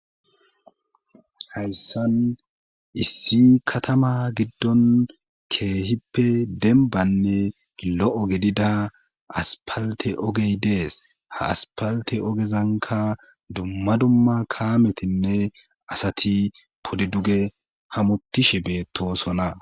Hayssan issi katama giddon keehippe denbanne lo7o gedida aspalte ogey dees ha aspalte ogezanka dumma dumma kaametinne asati podiduge hamutishe beettosona.